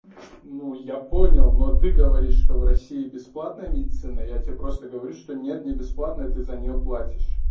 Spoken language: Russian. ну я понял но ты говоришь что в россии бесплатная медицина я тебе просто говорю что нет не бесплатное ты за нее платишь